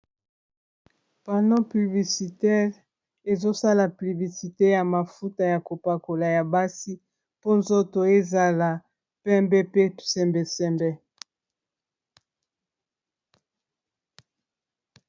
Mafuta ya NIVEA ezali nde mafuta ya nzoto. Balakisi yango na panneau publicitaire ya munene etelemi na nzela.